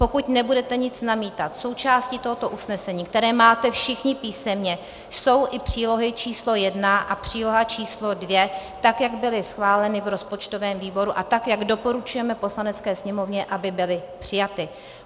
Pokud nebudete nic namítat, součástí tohoto usnesení, které máte všichni písemně, jsou i přílohy číslo 1 a příloha číslo 2, tak jak byly schváleny v rozpočtovém výboru a tak jak doporučujeme Poslanecké sněmovně, aby byly přijaty.